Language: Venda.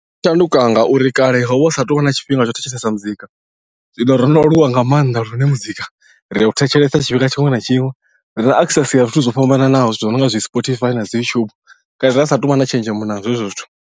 Zwi shanduka ngauri kale ho vha hu sa tou vha na tshifhinga tsho thetshelesa muzika zwino ro no aluwa nga maanḓa lune muzika ri u thetshelesa tshifhinga tshiṅwe na tshiṅwe ri na access ya zwithu zwo fhambananaho zwithu zwi no nga zwi spotify na dzi youtube kale ra satu vha na tshenzhemo nazwo hezwo zwithu.